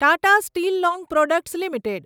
Tata steel long products limited